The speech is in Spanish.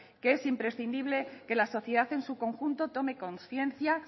que es imprescindible que la sociedad en su conjunto tome conciencia